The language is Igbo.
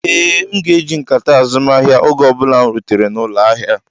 Ee, m ga-eji nkata azumahia oge ọ bụla m rutere n'ụlọ ahịa.